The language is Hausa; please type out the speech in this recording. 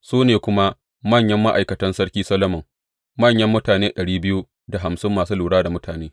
Su ne kuma manyan ma’aikatan Sarki Solomon, manyan mutane ɗari biyu da hamsin masu lura da mutane.